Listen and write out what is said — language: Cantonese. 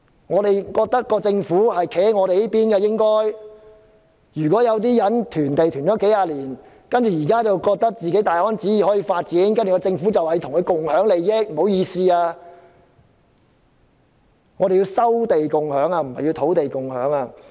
我們覺得政府應該站在我們這一邊，但有些人囤積土地多年，現時覺得可以大安旨意發展土地，政府還說要與他們共享土地利益？